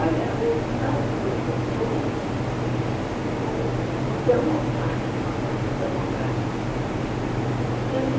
Olha, no caso do Getúlio, o democrático, na parte do democrático, ele...